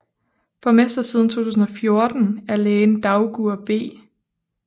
Borgmester siden 2014 er lægen Dagur B